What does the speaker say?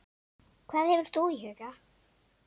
Hvað hefur þú í huga?